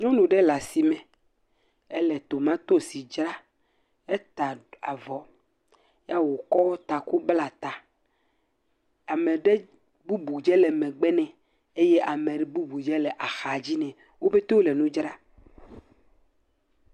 Nyɔnu ɖe le asime, ele tomatosi dzra, ata avɔ ya wokɔ taku bla ta. Ame ɖe bubu dze le megbe ne eye ame bubu dze le axa dzi ne. Wopetewo le nu dzra.